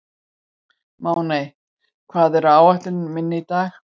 Máney, hvað er á áætluninni minni í dag?